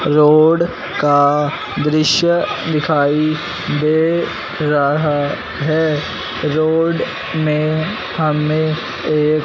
road का दृश्य दिखाई दे रहा है रोड में हमें एक--